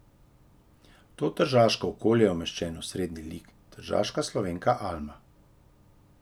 V to tržaško okolje je umeščen osrednji lik, tržaška Slovenka Alma.